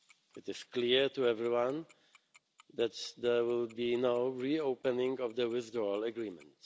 It is clear to everyone that there will be no re opening of the Withdrawal Agreement.